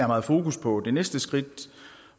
meget fokus på det næste skridt